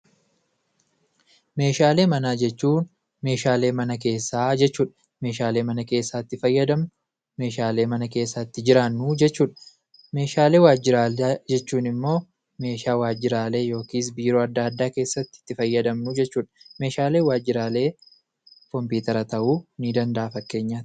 Meeshaalee manaa jechuun meeshaalee mana keessaa jechuudha. meeshaalee mana keessaa itti fayyadamnu, meeshaalee mana keessaa itti jiraannu jechuudha. Meeshaalee waajjiraalee jechuun immoo immoo meeshaa waajjiraalee yookis biiroo adda addaa keessatti itti fayyadamnuu jechuudha. Meeshaaleen waajjiraalee kompiitara ta'uu ni danda'a fakkeenyaatti.